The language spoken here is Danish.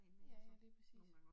Ja ja, lige præcis